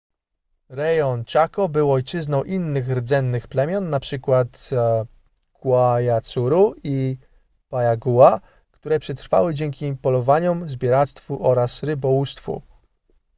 rejon chaco był ojczyzną innych rdzennych plemion np. guaycurú i payaguá które przetrwały dzięki polowaniom zbieractwu oraz rybołówstwu